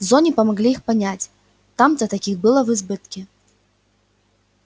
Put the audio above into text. в зоне помогли их понять там-то таких было в избытке